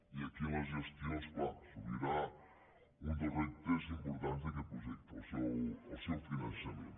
i aquí en la gestió és clar s’obrirà un dels reptes importants d’aquest projecte el seu finançament